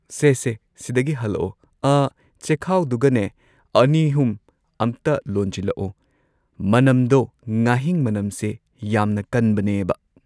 ꯁꯦ ꯁꯦ ꯁꯤꯗꯒꯤ ꯍꯜꯂꯛꯑꯣ ꯑꯥ ꯆꯦꯈꯥꯎꯗꯨꯒꯅꯦ ꯑꯅꯤꯍꯨꯝ ꯑꯝꯇ ꯂꯣꯟꯖꯤꯜꯂꯛꯑꯣ ꯃꯅꯝꯗꯣ ꯉꯥꯍꯤꯡ ꯃꯅꯝꯁꯦ ꯌꯥꯝꯅ ꯀꯟꯕꯅꯦꯕ